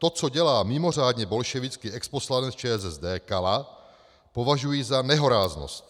To, co dělá mimořádně bolševický exposlanec ČSSD Kala, považuji za nehoráznost.